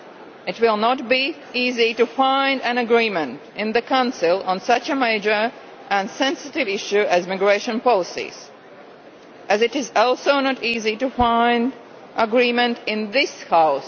It will not be easy to find an agreement in the Council on such a major and sensitive issue as migration policies, just as it is also not easy to find an agreement in this House.